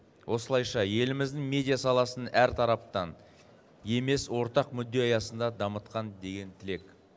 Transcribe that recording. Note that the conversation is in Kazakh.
осылайша еліміздің медиа саласын әртараптан емес ортақ мүдде аясында дамытқан деген тілек